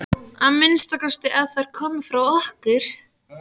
Að minnsta kosti ef þær komu frá okkur.